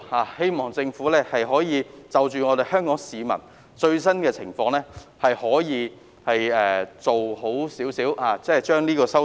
我希望政府可以就香港市民的最新情況，妥善作出有關修訂。